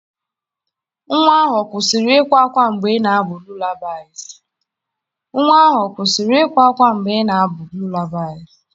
Nwa ahụ ọ kwụsịrị ịkwa ákwá mgbe ị na-abụ abụ lullabies?